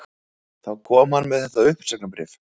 Þá kom hann með þetta uppsagnarbréf